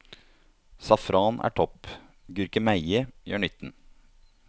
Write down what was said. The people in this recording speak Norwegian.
Safran er topp, gurkemeie gjør nytten.